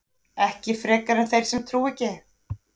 ekki frekar en þeir sem trúa ekki